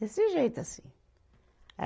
Desse jeito assim.